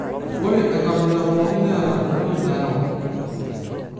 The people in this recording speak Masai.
ore enkabila pookin neeta entoki nayau.